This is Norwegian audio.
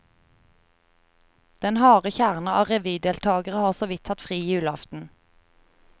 Den harde kjerne av revydeltagere har såvidt hatt fri julaften.